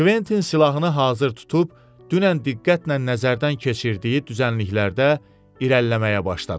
Kventin silahını hazır tutub dünən diqqətlə nəzərdən keçirdiyi düzənliklərdə irəliləməyə başladı.